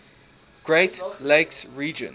great lakes region